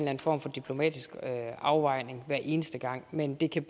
anden form for diplomatisk afvejning hver eneste gang men det kan